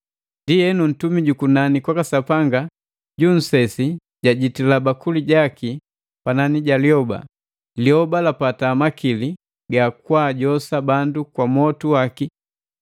Ndienu, ntumi jukunani kwaka Sapanga ja nnsesi jajitila bakuli jaki panani ja lyoba. Lyoba lapata makili ga kwaajosa bandu kwa mwotu waki.